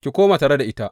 Ki koma tare da ita.